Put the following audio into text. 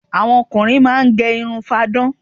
Àwọn ọkùnrin máá ń gẹ irun fáadán